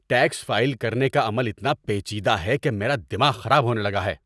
Tax file کرنے کا عمل اتنا پیچیدہ ہے کہ میرا دماغ خراب ہونے لگا ہے!